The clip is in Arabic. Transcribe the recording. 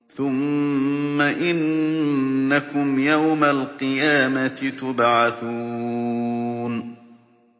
ثُمَّ إِنَّكُمْ يَوْمَ الْقِيَامَةِ تُبْعَثُونَ